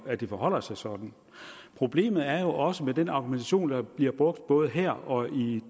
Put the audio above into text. at det forholder sig sådan problemet er også at den argumentation der bliver brugt både her og i